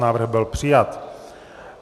Návrh byl přijat.